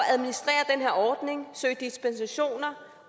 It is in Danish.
at ordning søge dispensationer